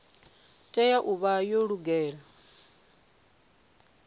tea u vha yo lugela